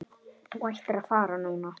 Þú ættir að fara núna.